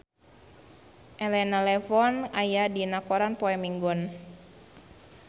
Elena Levon aya dina koran poe Minggon